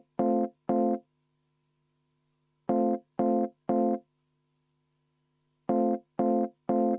Jaa, härra Pevkur!